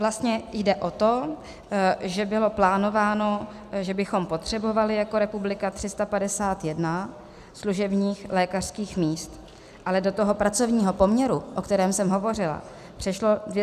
Vlastně jde o to, že bylo plánováno, že bychom potřebovali jako republika 351 služebních lékařských míst, ale do toho pracovního poměru, o kterém jsem hovořila, přešlo 287 lékařů.